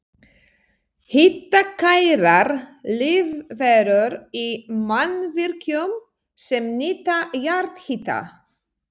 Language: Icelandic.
Hitakærar lífverur í mannvirkjum sem nýta jarðhita